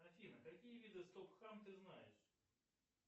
афина какие виды стоп хам ты знаешь